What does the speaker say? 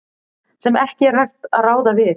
sem ekki er hægt að ráða við.